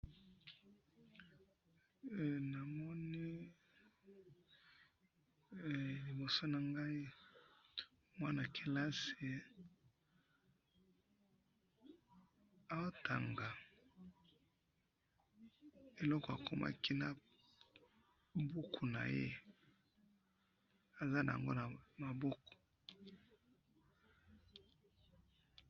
namoni, liboso na ngai. mwana kelasi, azo tanga, eloko akomaki na buku naye, aza nango na maboko